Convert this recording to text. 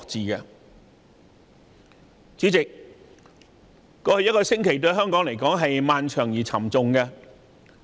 對香港來說，過去一星期既漫長又沉重。